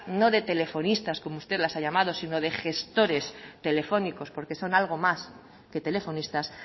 no de telefonistas como usted las ha llamado si no de gestores telefónicos porque son algo más que telefonistas